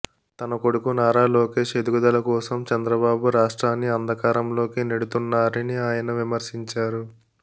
తన కొడుకు నారా లోకేశ్ ఎదుగుదల కోసం చంద్రబాబు రాష్ట్రాన్ని అంధకారంలోకి నెడుతున్నారని ఆయన విమర్శించారు